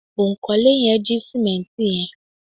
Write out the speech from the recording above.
onkole yen ji simenti yen